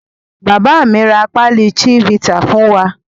Bàbá mi ra pálí Chivita fún wa.